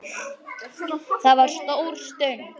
Það var stór stund.